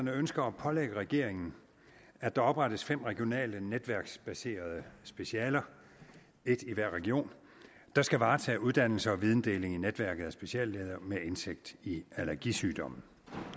ønsker at pålægge regeringen at der oprettes fem regionale netværksbaserede specialer et i hver region der skal varetage uddannelse og videndeling i netværket af speciallæger med indsigt i allergisygdomme